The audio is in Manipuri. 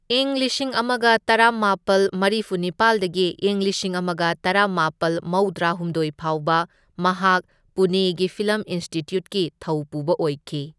ꯢꯪ ꯂꯤꯁꯤꯡ ꯑꯃꯒ ꯇꯔꯥꯃꯥꯄꯜ ꯃꯔꯤꯐꯨ ꯅꯤꯄꯥꯜꯗꯒꯤ ꯢꯪ ꯂꯤꯁꯤꯡ ꯑꯃꯒ ꯇꯔꯥꯃꯥꯄꯜ ꯃꯧꯗ꯭ꯔꯥ ꯍꯨꯝꯗꯣꯢ ꯐꯥꯎꯕ ꯃꯍꯥꯛ ꯄꯨꯅꯦꯒꯤ ꯐꯤꯜꯂꯝ ꯏꯟꯁꯇꯤꯇ꯭ꯌꯨꯠꯀꯤ ꯊꯧꯄꯨꯕ ꯑꯣꯏꯈꯤ꯫